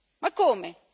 Ma come?